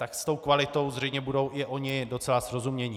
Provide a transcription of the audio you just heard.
Tak s tou kvalitou zřejmě budou i oni docela srozuměni.